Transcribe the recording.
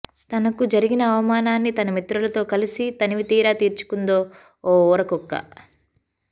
తనకు జరిగిన అవమానాన్ని తన మిత్రులతో కలిసి తనివితీరా తీర్చుకుందో ఓ ఊరకుక్క